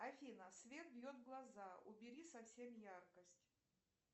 афина свет бьет в глаза убери совсем яркость